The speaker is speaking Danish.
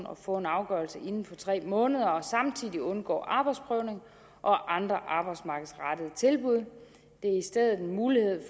og få en afgørelse inden for tre måneder og samtidig undgå arbejdsprøvning og andre arbejdsmarkedsrettede tilbud det er i stedet en mulighed